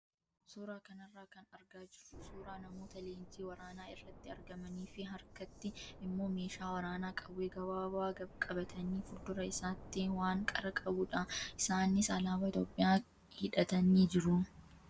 Suuraa kanarraa kan argaa jirru suuraa namoota leenjii waraanaa irratti argamanii fi harkatti immoo meeshaa waraanaa qawwee gabaabaa qabatanii fi fuuldura isaatti waan qara qabudha. Isaanis alaabaa Itoophiyaa hidhatanii jiru.